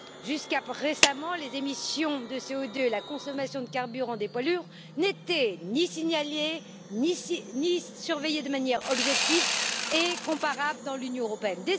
Jusqu'à récemment, les émissions de CO2 et la consommation de carburant des poids lourds n'étaient ni signalées, ni surveillées de manière objective et comparable dans l'Union européenne.